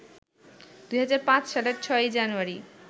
২০০৫ সালের ৬ জানুয়ারি